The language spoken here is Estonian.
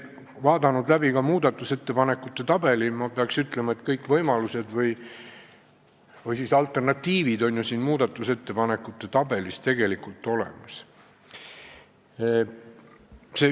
Vaadanud läbi ka muudatusettepanekute tabeli, pean ütlema, et kõik võimalused või siis alternatiivid on muudatusettepanekute tabelis olemas.